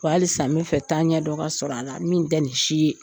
Wa halisa n bɛ fɛ taaɲɛ dɔ ka sɔrɔ a la min tɛ ni si ye.